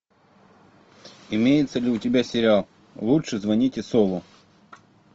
имеется ли у тебя сериал лучше звоните солу